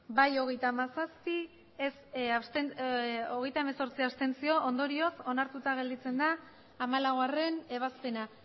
bai hogeita hamazazpi abstentzioak hogeita hemezortzi ondorioz onartuta gelditzen da hamalaugarrena ebazpena